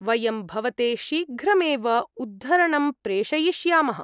वयं भवते शीघ्रमेव उद्धरणं प्रेषयिष्यामः।